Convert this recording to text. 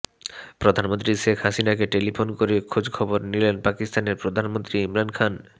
প্রধানমন্ত্রী শেখ হাসিনাকে টেলিফোন করে খোঁজখবর নিলেন পাকিস্তানের প্রধানমন্ত্রী ইমরান খান